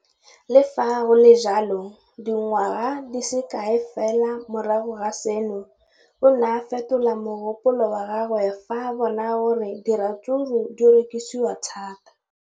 Le fa go le jalo, dingwaga di se kae fela morago ga seno, o ne a fetola mogopolo wa gagwe fa a bona gore diratsuru di rekisiwa thata.